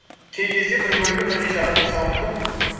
кей кезде бір бөлігін бірнеше адам жасауы мүмкін